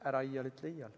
Ära iial ütle iial.